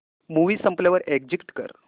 movie संपल्यावर exit कर